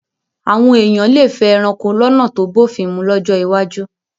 Àwọn èèyàn lè fẹ́ ẹranko lọ́nà tó bófin mu lọ́jọ́ iwájú